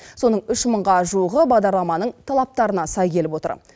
соның үш мыңға жуығы бағдарламаның талаптарына сай келіп отыр